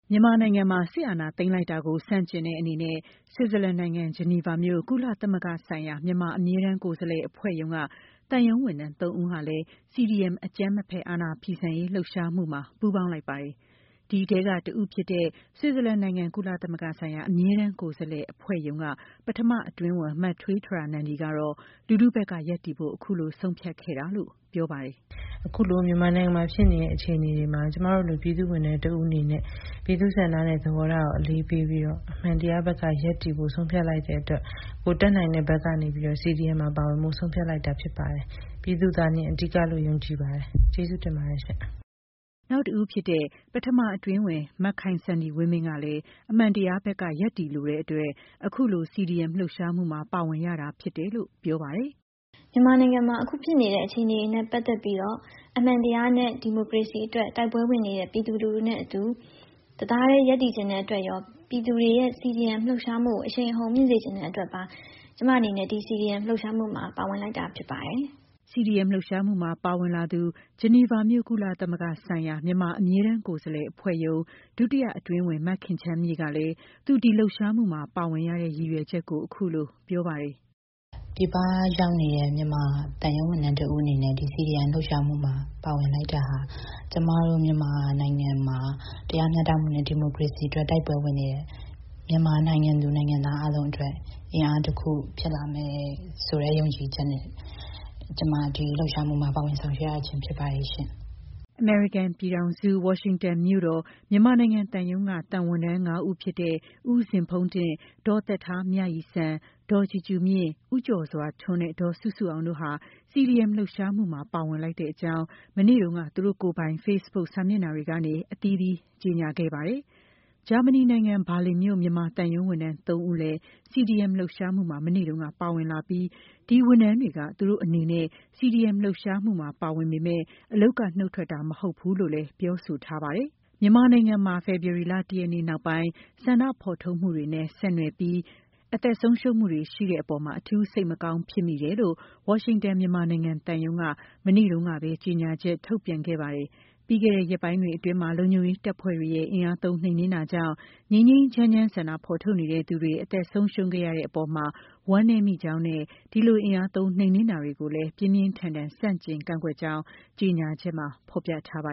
မြန်မာနိုင်ငံမှာ စစ်အာဏာသိမ်းလိုက်တာကို ဆန့်ကျင်တဲ့အနေနဲ့ ဆွစ်ဇာလန်နိုင်ငံ ဂျီနီဗာမြို့ ကုလသမဂ္ဂဆိုင်ရာ မြန်မာ အမြဲတမ်းကိုယ်စားလှယ်အဖွဲ့ရုံးက သံရုံးဝန်ထမ်း ၃ ဦးဟာလည်း CDM အကြမ်းမဖက် အာဏာဖီဆန်ရေး လှုပ်ရှားမှုမှာ ပူးပေါင်းလိုက်ပါတယ်။ ဒီအထဲက တဦးဖြစ်တဲ့ ဆွစ်ဇာလန်နိုင်ငံ ကုလသမဂ္ဂဆိုင်ရာ အမြဲတမ်းကိုယ်စားလှယ်အဖွဲ့ရုံးက ပထမအတွင်းဝန် မထွေးတြာနန္ဒီကတော့ လူထုဖက်ကရပ်တည်ဖို့ အခုလို ဆုံးဖြတ်ခဲ့တာလို့ ပြောပါတယ်။ “အခုလို မြန်မာနိုင်ငံမှာရှိနေတဲ့အခြေအနေမှာ ကျမတို့တွေ ပြည်သူ့ဝန်ထမ်းတဦးအနေနဲ့ပြည်သူ့ဆန္ဒနဲ့သဘောထားကို အလေးပေးပြီးတော့ အမှန်တရားဘက်ကရပ်တည်ဖို့ဆုံးဖြတ်လိုက်တဲ့အတွက် ကိုယ်တတ်နိုင်ဘက်ကနေပြီးတော့ CDM မှာ ပါဝင်ဖို့ဆုံးဖြတ်လိုက်တာဖြစ်ပါတယ်။ ပြည်သူသာလျှင်အဓိကလို့ယုံကြည်ပါတယ်။ ကျေးဇူးတင်ပါတယ်ရှင့်” နောက်တဦးဖြစ်တဲ့ ပထမအတွင်းဝန် မခိုင်စန္ဒီဝင်းမင်းကလည်း အမှန်တရားဘက်က ရပ်တည်လိုတဲ့ အတွက်အခုလို CDM လှုပ်ရှားမှုမှာ ပါဝင်ရတာဖြစ်တယ်လို့ ပြောပါတယ်။ “မြန်မာနိုင်ငံမှာ အခုဖြစ်နေတဲ့ အခြေအနေတွေနဲ့ပက်သက်ပြီးတော့ အမှန်တရားနဲ့ဒီမိုကရေစီတွေအတွက် တိုက်ပွဲဝင်နေတဲ့ ပြည်သူတွေနဲ့အတူ တသားထဲ ရပ်တည်နေချင်တဲ့အတွက်ရော၊ ပြည်သူတွေရဲ့ CDM လှုပ်ရှားမှုကို အရှိန်အဟုန်မြှင့်စေချင်နေတဲ့ အတွက်ပါ ကျမအနေနဲ့ ဒီ CDM လှုပ်ရှားမှုမှာ ပါဝင်လိုက်တာဖြစ်ပါတယ်။” CDM လှုပ်ရှားမှုမှာပါဝင်လာသူ ဂျီနီဗာမြို့ ကုလသမဂ္ဂဆိုင်ရာ မြန်မာ အမြဲတမ်းကိုယ်စားလှယ်အဖွဲ့ရုံး ဒုတိယအတွင်းဝန် မခင်ချမ်းမြေ့ကလည်း သူဒီလှုပ်ရှားမှုမှာ ပါဝင်ရတဲ့ ရည်ရွယ်ချက်ကို အခုလို ပြောပါတယ်။ “ပြည်ပရောက်နေတဲ့ မြန်မာသံရုံးဝန်ထမ်းတဦးအနေနဲ့ဒီ CDM လှုပ်ရှားမှုမှာ ပါဝင်လိုက်တာဟာ ကျမတို့မြန်မာနိုင်ငံမှာ တရားမျှတမှုနဲ့ဒီမိုကရေစီအတွက် တိုက်ပွဲဝင်နေတဲ့ မြန်မာနိုင်ငံသူ၊ နိုင်ငံသားအားလုံးအတွက် အင်အားတခုဖြစ်လာမယ်ဆိုတဲ့ ယုံကြည်ချက်နဲ့ ကျမဒီလှုပ်ရှားမှုမှာ ပါဝင်ဆောင်ရွက်ရချင်းဖြစ်ပါတယ်ရှင့်” အမေရိကန်ပြည်ထောင်စု၊ ဝါရှင်တန်မြို့တော်၊ မြန်မာနိုင်ငံသံရုံးက သံဝန်ထမ်း ၅ ဦးဖြစ်တဲ့ ဦးဇင်ဖုန်းတင့်၊ ဒေါ်သက်ထားမြရည်စံ၊ ဒေါ်ကြူကြူမြင့်၊ ဦးကျော်စွာထွန်းနဲ့ ဒေါ်စုစုအောင်တို့ဟာ CDM လှုပ်ရှားမှုမှာ ပါဝင်လိုက်တဲ့အကြောင်း မနေ့တုန်းက သူတို့ကိုယ်ပိုင် ဖေ့စ်ဘုတ်စာမျက်နှာတွေကနေ အသီးသီး ကြေညာခဲ့ပါတယ်။ ဂျာမနီနိုင်ငံဘာလင်မြို့ မြန်မာသံရုံးဝန်ထမ်း ၃ ဦးလည်း CDM လှုပ်ရှားမှုမှာ မနေ့တုန်းက ပါဝင်လာပြီး ဒီဝန်ထမ်းတွေက သူတို့ အနေနဲ့ CDM လှုပ်ရှားမှုမှာ ပါဝင်ပေမဲ့ အလုပ်က နှုတ်ထွက်တာမဟုတ်ဘူးလို့လည်း ပြောဆိုထားပါတယ်။ မြန်မာနိုင်ငံမှာ ဖေဖော်ဝါရီလ ၁ ရက်နေ့ နောက်ပိုင်း ဆန္ဒဖော်ထုတ်မှုတွေနဲ့ ဆက်နွယ်ပြီး အသက်ဆုံးရှုံးမှုတွေ ရှိတဲ့ အပေါ် အထူးစိတ်မကောင်းဖြစ်မိတယ်လို့ ဝါရှင်တန် မြန်မာနိုင်ငံ သံရုံးက မနေ့တုန်းကပဲ ကြေညာချက်ထုတ်ပြန်ခဲ့ပါတယ်။ ပြီးခဲ့တဲ့ ရက်ပိုင်းတွေအတွင်း လုံခြုံရေးတပ်ဖွဲ့တွေရဲ့ အင်အားသုံးနှိမ်နှင်းတာကြောင့် ငြိမ်းငြိမ်းချမ်းချမ်း ဆန္ဒဖော်ထုတ်နေတဲ့သူတွေ အသက်ဆုံးရှုံးခဲ့ရတဲ့ အပေါ်မှာ ဝမ်းနည်းမိကြောင်းနဲ့ ဒီလို အင်အားသုံးနှိမ်နှင်းတာတွေကိုလည်း ပြင်းပြင်းထန်ထန် ဆန့်ကျင်ကန့်ကွက်ကြောင်း ကြေညာချက်မှာဖော်ပြထားပါ